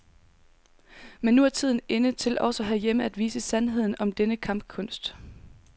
Men nu er tiden inde til også herhjemme at vise sandheden om denne kampkunst.